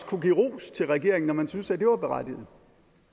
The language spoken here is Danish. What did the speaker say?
kunne give ros til regeringen når man syntes at det var berettiget